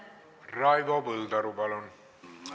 Raivo Põldaru, palun!